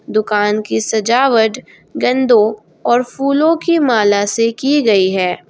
दुकान की सजावट गेन्दो और फूलों की माला से की गई है।